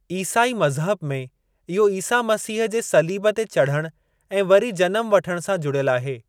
ईसाई मज़हब में, इहो ईसा मसीह जे सलीब ते चढ़ण ऐं वरी जनमु वठण सां जुड़ियलु आहे।